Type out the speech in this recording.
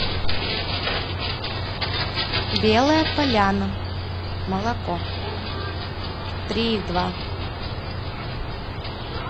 белая поляна молоко три и два